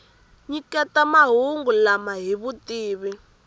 nyiketaka mahungu lama hi vutivi